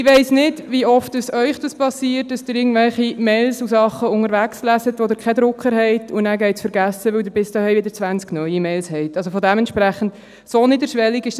Ich weiss nicht, wie oft es Ihnen passiert, dass Sie irgendwelche Mails unterwegs lesen, wo Sie keinen Drucker haben, sodass es dann vergessen geht, weil Sie, sobald Sie zu Hause sind, wiederum zwanzig neue Mails erhalten haben.